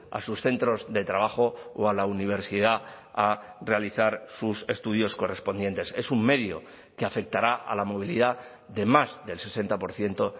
a sus centros de trabajo o a la universidad a realizar sus estudios correspondientes es un medio que afectará a la movilidad de más del sesenta por ciento